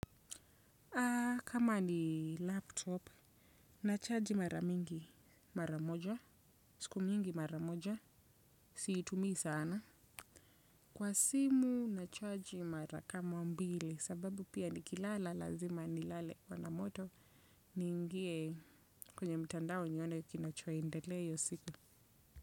Kama ni laptop, nachaji maramingi maramoja, siku mingi maramoja, siitumii sana. Kwa simu nachaji mara kama mbili. Sababu pia, nikilala lazima nilale kwa na moto ni ingie kwenye mtandao nione kinachoendelea hiyo siku.